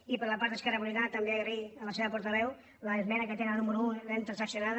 i per la part d’esquerra republicana també donar les gràcies a la seva portaveu l’esmena que tenen la número un l’hem transaccionada